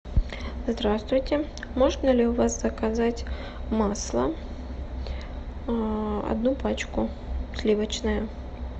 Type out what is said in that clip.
здравствуйте можно ли у вас заказать масло одну пачку сливочное